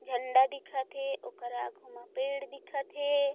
झंडा दिखत हे ओकर आगु म पेड़ दिखत हे।